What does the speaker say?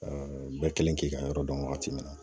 bɛɛ kɛlen k'i ka yɔrɔ dɔn wagati min na